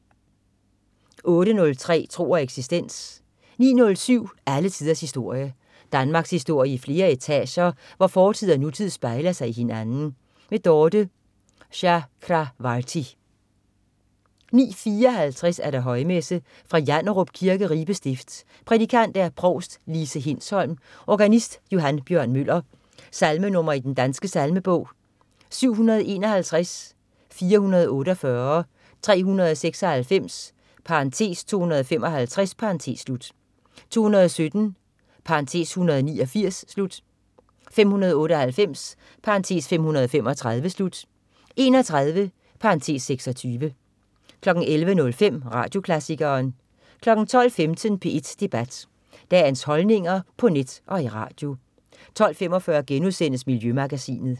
08.03 Tro og eksistens 09.07 Alle tiders historie. Danmarkshistorie i flere etager, hvor fortid og nutid spejler sig i hinanden. Dorthe Chakravarty 09.54 Højmesse. Fra Janderup Kirke, Ribe Stift. Prædikant: provst Lise Hindsholm. Organist: Johan Bjørn Møller. Salmenr. i Den Danske Salmebog: 751, 448, 396 (255), 217 (189), 598 (535), 31 (26) 11.05 Radioklassikeren 12.15 P1 Debat. Dagens holdninger på net og i radio 12.45 Miljømagasinet*